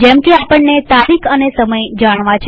જેમકે આપણને તારીખ અને સમય જાણવો છે